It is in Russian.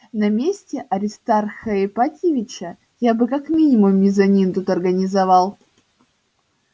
на месте аристарха ипатьевича я бы как минимум мезонин тут организовал